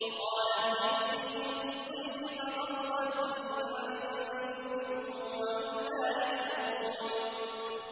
وَقَالَتْ لِأُخْتِهِ قُصِّيهِ ۖ فَبَصُرَتْ بِهِ عَن جُنُبٍ وَهُمْ لَا يَشْعُرُونَ